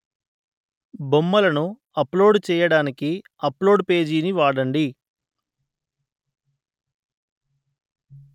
బొమ్మలను అప్‌లోడు చెయ్యడానికి upload page ని వాడండి